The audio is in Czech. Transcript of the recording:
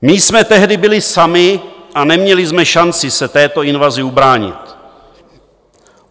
My jsme tehdy byli sami a neměli jsme šanci se této invazi ubránit.